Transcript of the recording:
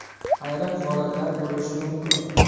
Ayrim holatlar bo‘lishi mumkin.